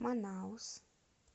манаус